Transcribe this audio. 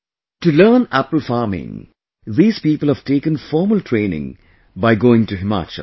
To learn apple farming these people have taken formal training by going to Himachal